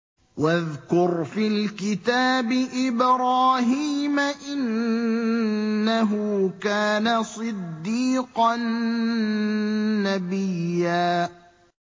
وَاذْكُرْ فِي الْكِتَابِ إِبْرَاهِيمَ ۚ إِنَّهُ كَانَ صِدِّيقًا نَّبِيًّا